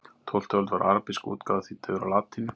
Á tólftu öld var arabísk útgáfa þýdd yfir á latínu.